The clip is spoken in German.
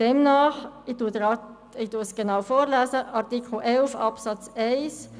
Demnach lautet Artikel 11 Absatz 1 – ich lese es genau vor: «